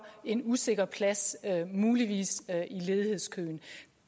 en usikker plads muligvis i ledighedskøen